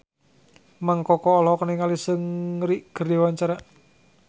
Mang Koko olohok ningali Seungri keur diwawancara